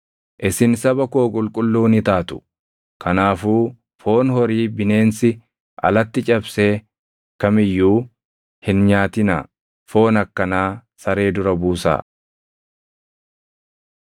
“Isin saba koo qulqulluu ni taatu. Kanaafuu foon horii bineensi alatti cabsee kam iyyuu hin nyaatinaa; foon akkanaa saree dura buusaa.